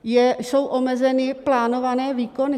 Jsou omezeny plánované výkony.